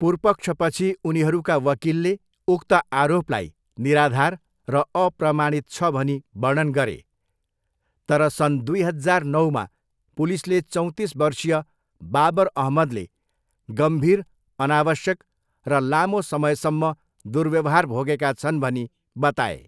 पुर्पक्षपछि उनीहरूका वकिलले उक्त आरोपलाई 'निराधार र अप्रमाणित' छ भनी वर्णन गरे तर सन् दुई हजार नौमा पुलिसले चौँतिस बर्षीय बाबर अहमदले 'गम्भीर, अनावश्यक र लामो समयसम्म' दुर्व्यवहार भोगेका छन् भनी बताए।